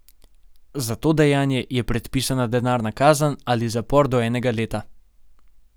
Za to dejanje je predpisana denarna kazen ali zapor do enega leta.